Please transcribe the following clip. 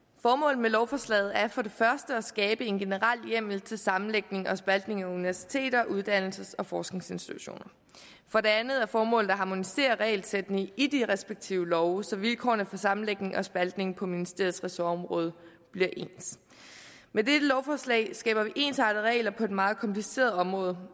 formålet med lovforslaget er for det første at skabe en generel hjemmel til sammenlægning og spaltning af universiteter og uddannelses og forskningsinstitutioner for det andet er formålet at harmonisere regelsættene i de respektive love så vilkårene for sammenlægning og spaltning på ministeriets ressortområde bliver ens med dette lovforslag skaber vi ensartede regler på et meget kompliceret område